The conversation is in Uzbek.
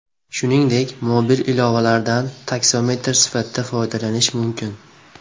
Shuningdek, mobil ilovalardan taksometr sifatida foydalanish mumkin.